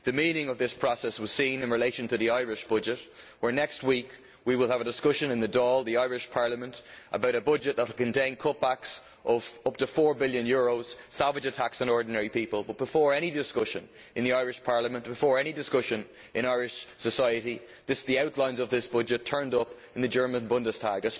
The meaning of this process was seen in relation to the Irish budget, where next week we will have a discussion in the Dáil, the Irish Parliament, about a budget that will contain cutbacks of up to EUR 4 billion savage attacks on ordinary people but before any discussion in the Irish Parliament, before any discussion in Irish society, the outlines of this budget turned up in the German Bundestag.